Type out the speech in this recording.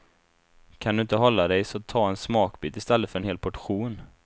Kan du inte hålla dig så ta en smakbit i stället för en hel portion.